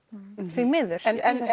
því miður